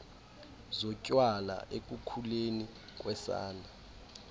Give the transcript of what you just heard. zotywala ekukhuleni kosana